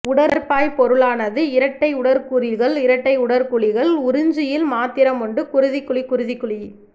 உடற்பாய்பொருளாலானது இரட்டை உடற்குழிகள் இரட்டை உடற்குழிகள் உறிஞ்சியில் மாத்திரம் உண்டு குருதிக்குழி குருதிக்குழி